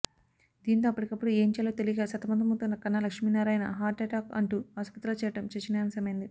దీంతో అప్పటికప్పుడు ఏం చేయాలో తెలియక సతమతమవుతున్న కన్నా లక్ష్మీనారాయణ హార్ట్ అటాక్ అంటూ ఆస్పత్రిలో చేరడం చర్చనీయాంశమైంది